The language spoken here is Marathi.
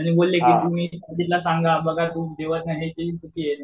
आणि बोलले की तुम्ही साजिदला सांगा बघा